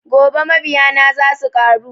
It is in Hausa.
Gobe mabiya na za suƙaru